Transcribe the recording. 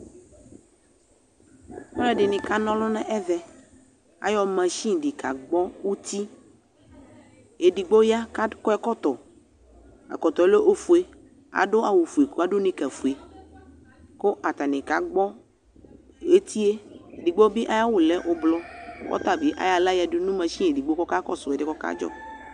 Alʋɛdɩnɩ kana ɔlʋ nʋ ɛvɛ Ayɔ masin dɩ kagbɔ uti Edigbo ya kʋ akɔ ɛkɔtɔ kʋ ɛkɔtɔ yɛ lɛ ofue Adʋ awʋfue kʋ adʋ nɩkafue kʋ atanɩ kagbɔ eti yɛ Edigbo bɩ ayʋ awʋ lɛ ʋblɔ kʋ ɔta bɩ ayɔ aɣla yǝdu nʋ masin edigbo kʋ ɔkakɔsʋ ɛdɩ yɛ kʋ ɔkadzɔ